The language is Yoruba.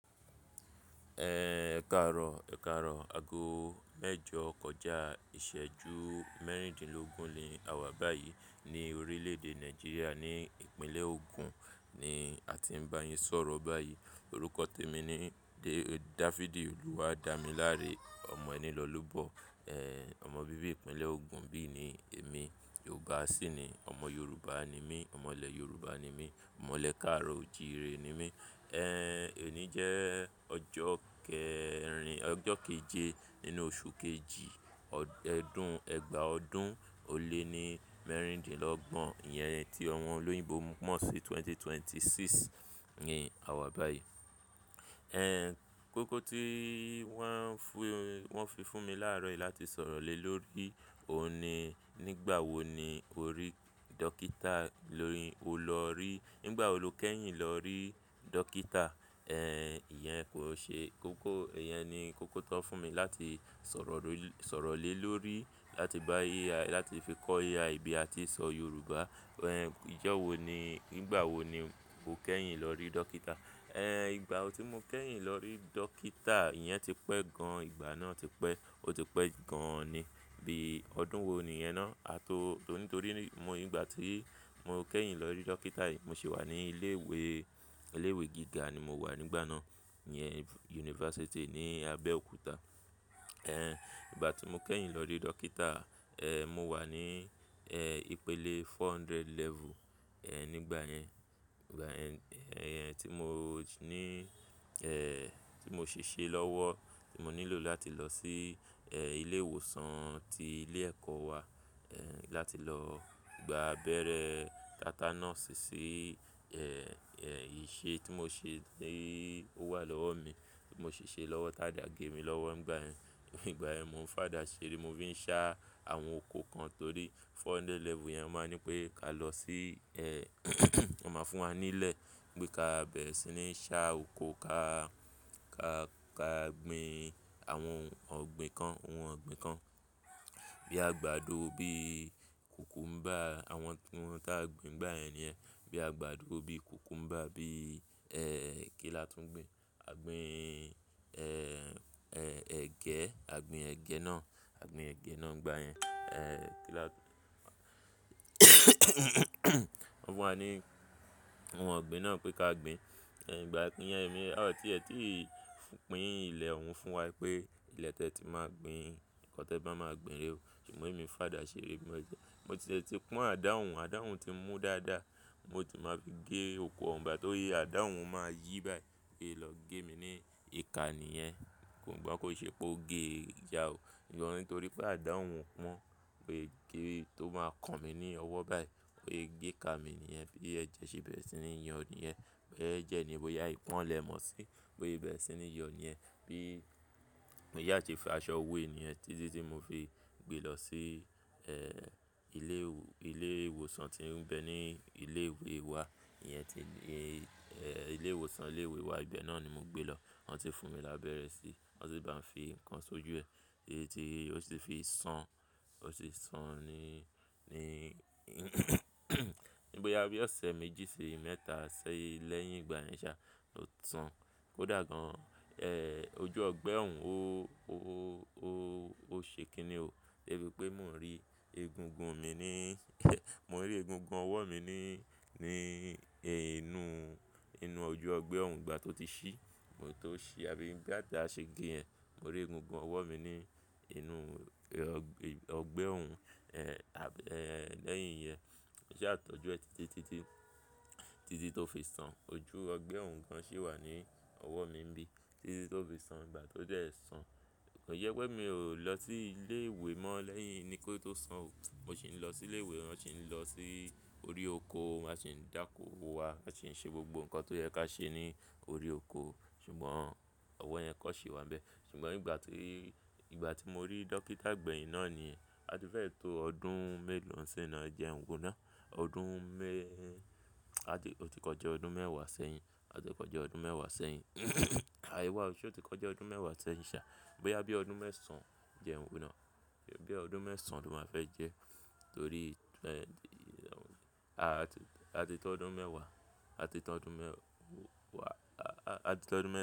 Ẹ káàárọ̀, ẹ káàárọ̀, ago mẹ́jọ kọjá ìṣẹ́jú mẹ́rìndínlógún ni a wà báyìí ní orílẹ̀-èdè Nàìjíríà ní ìpínlẹ̀ Ogun ni a ti ń bá yín sọ̀rọ̀ báyìí. Òrúkọ témi ni David Oluwadamilare, ọmọ ẹni lọ́lúbọ, ẹ́, ọmọ bíbí ìpínlẹ̀ Ogun bí i ni èmi. Ògùn àsí ni, ọmọ Yorùbá ni mí, ọmọlẹ Yorùbá ni mí, ọmọlẹ káàárọ̀ òjìire ni mí. Ẹ́, òní jẹ́ ọjọ́ kẹrin-- ọjọ́ kejì nínú oṣù kejì, ọdún, ẹgbàá ọdún ó lé ní mẹ́rìndínlọ́gbọ̀n, ìyẹn tí ọmọ olóyìnbó mọ̀ sí 2026 ni a wà báyìí. Ẹ́, kókó tí wọ́n fi fún mi láàárọ̀ yìí láti sọ̀rọ̀ lé lórí òun ni nígbà wo ni o rí dókítà, lórí o lọ rí-- nígbà wo lo kẹ́yìn lọ rí dókítà? Ẹ̀, ìyẹn kò ṣe-- kókó, ìyẹn ni kókó tó fún mi láti sọ̀rọ̀, sọ̀rọ̀ lé lórí láti bá AI, láti fi kọ AI bí a ti ń sọ Yorùbá. Ẹ̀, ijọ́ wo ni, nígbà wo ni o kẹ́yìn lọ rí dókítà? Ẹ̀, ìgbà tí mo kẹ́yìn lọ rí dókítà, ìyẹn ti pẹ́ gan, ìgbà náà ti pẹ́, ó ti pẹ́ gan an ni. Bí i ọdún wo ni yẹn náà? A tó-- nítorí mo, ìgbà tí mo kẹ́yìn lọ rí dókítà yìí, mo sì wà ní ilé ìwé, ilé ìwé gíga ni mo wà nígbà náà. Ìyẹn yunifásítì ní Abẹ́òkúta. Ẹ̀, ìgbà tí mo kẹ́yìn lọ rí dókítà, ẹ́, mo wà ní, ẹ́, ìpele 400 level, ẹ́, nígbà yẹn. Ìgbà ẹ́, ẹ́, tí mo ní, ẹ́, tí mo ṣè ṣe lọ́wọ́, tí mo nílò láti lọ sí, ẹ́, ilé ìwòsàn tí ilé ẹ̀kọ́ wà, ẹ́, láti lọ gba abẹ́rẹ́ tátánọ́ọ̀ṣì sí, ẹ́, ẹ́, ìṣe tí mo ṣe ní ó wà lọ́wọ́ mi, tí mo ṣè ṣe lọ́wọ́ táda gẹ mi lọ́wọ́ nígbà ẹ́, ígbà yen mo ń fàdá ṣeré, mo sì ń ṣá àwọn oko kan torí 400 level yẹn máa ń ní pé ká lọ sí, ẹ́, wọ́n máa fún wa nílẹ̀ pé ká bẹ̀rẹ̀ sí ní ṣá oko ká, ká, ká gbin àwọn ọ̀gbìn kan, ohun ọ̀gbìn kan. Bí i àgbàdo, bí i kùkúḿbà, àwọn ohun tá a gbin n gbà yen ni yen. Bí i àgbàdo, bí i kùkúḿbà, bí i, ẹ́, kí làá tún gbin? A gbìn, ẹ́, ẹ́, ẹ̀gẹ́, a gbìn ẹ̀gẹ́ náà, a gbìn ẹ̀gẹ́ náà nígbà yẹn. Wọ́n fún wa ní ohun ọ̀gbìn náà pé ká gbin. Ẹ̀, ìgbà tí yẹn èmi á ò tìẹ́ tìí pín ilẹ̀ òun fún wa pé ilẹ̀ tí ẹ ti máa gbin, nǹkan tí ẹ bá máa gbin rè o. Ṣùgbọ́n èmi ń fàdá ṣeré, mo jẹ́, mo ti e tí pọ́n àdá hun, àdá hun ti mú dáadáa, mo sì máa fi gé oko ọ̀un igba ti ya, àdá hun máa yí báyìí bo yé lọ gé mi ní ìka ni yẹn. Kò ngbọ́ kò ṣe pé ó gé jà ò. Sugbon nítorí pé àdá hun pọ́n boyé gẹ́ tó máa kan mi ní ọwọ́ báyìí, bo yé gẹ́ ká mi ni yẹn, bí i ẹjẹ se bẹ̀rẹ̀ sí ní yọ ni yẹn. Ẹjẹ ní bò ya ìpọ́n lè mọ̀ sí, bo ye bẹ̀rẹ̀ sí ní yọ ni yẹn. Bí í, mo yáa se fi aṣọ wé e ni yen títí tí mo fi gbé lọ sí, ẹ́, ilé ìwò, ilé ìwòsàn tí ń bẹ ní ilé ìwé wa. Iyẹn ti lé, ẹ́, ilé ìwòsàn ilé ìwé wa, ìbẹ̀ náà ni mo gbé lọ. Wọ́n si fún mi lábẹ́rẹ́ sí, wọ́n sì bá mi fi nǹkan ṣojú ẹ. Titi ti, ó sì fi sán, ó sì san ni, ní ní boyà bí i ọ̀sẹ̀ méjì sì mẹ́ta sẹ́yìn lẹ́yìn ìgbà yẹn ṣá, ó san. Ó dà gan. Ẹ́, ojú ọgbẹ́ òun ó, ó, ó, ó ṣe kinni ò. Bí i pé mò ń rí egungun mi ni, mò ń rí egungun ọwọ́ mi ni, ní inú, inú ojú ọgbẹ́ òun ìgbà tó ti ṣí, mo tó ṣí, àbí ìgbà tí a ṣe ge ẹ́, mò ń rí egungun ọwọ́ mi ní inú ọgbẹ́ òun, ẹ́, lẹ́yìn iyẹn. Mo sa tọ́jú ẹ títí, títí, títí tó fi san. Ojú ọgbẹ́ òun gan ṣì wà ní ọwọ́ mi níbí títí tó fi san ìgbà tó jẹ́ ẹ san. Kò yẹ pé mi ò lọ sí ilé ìwé mọ́ lẹ́yìn ni kó tó san ò. Mo sì ń lọ sí ilé ìwé, mo sì ń lọ sí orí oko, áa sì ń dáko wá, aa sì ń ṣe gbogbo nǹkan tó yẹ ká ṣe ní orí oko. Ṣùgbọ́n ọwọ́ yẹn kọ̀n ṣe wá n bẹ̀. Ṣùgbọ́n ìgbà tí, ìgbà tí mo rí dókítà gbẹ̀yìn náà ni a ti fẹ́ẹ̀ tó ọdún mélòó ń ṣin ná ẹjenwo náà? Ọdún me-- a ti, ó ti kọjá ọdún mẹ́wàá sẹ́yìn. O ti kọjá ọdún mẹ́wàá sẹ́yìn. Àh ewa oo ṣe ó ti kọjá ọdún mẹ́wàá sẹ́yìn ṣá. Bóyá bí i ọdún mẹ́sàn jẹn wo náà? Bí i ọdún mẹ́sàn ló máa fẹ́ jẹ́ torí, a ti tó ọdún mẹ́wàá, a ti tó ọdún mẹ́wàá, a ti tó ọdún mẹ́